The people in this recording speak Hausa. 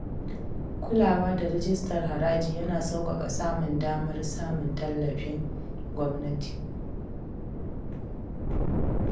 Kulawa da rijistar haraji yana sauƙaƙa samun damar samun tallafin gwamnati.